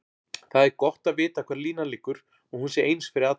Það er gott að vita hvar línan liggur og hún sé eins fyrir alla.